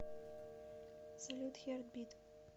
салют хертбит